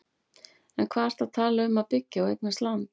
En hvað ertu að tala um að byggja og eignast land?